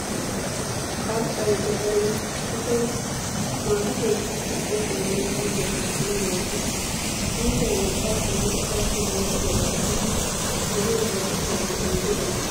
Qarxxay gaxariyan asay maata keettaassi qol'uwaanne wuyigiya shaakkanawu maaddes. Indday urqqaappenne oshaappe merettiyaagaa gidishin beni asay uttanawu oyidedan go'ettiyo sohuwa.